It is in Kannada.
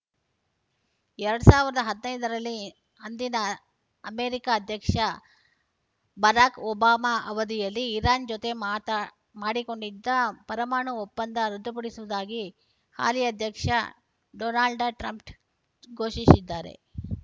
ಎರಡ್ ಸಾವಿರದ ಹದಿನೈದರಲ್ಲಿ ಅಂದಿನ ಅಮೆರಿಕ ಅಧ್ಯಕ್ಷ ಬರಾಕ್‌ ಒಬಾಮಾ ಅವಧಿಯಲ್ಲಿ ಇರಾನ್‌ ಜೊತೆ ಮಾತಡಿಕೊಂಡಿದ್ದ ಪರಮಾಣು ಒಪ್ಪಂದ ರದ್ದುಪಡಿಸುವುದಾಗಿ ಹಾಲಿ ಅಧ್ಯಕ್ಷ ಡೊನಾಲ್ಡ್‌ ಟ್ರಂಪ್‌ ಘೋಷಿಸಿದ್ದಾರೆ